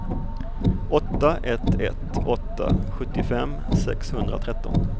åtta ett ett åtta sjuttiofem sexhundratretton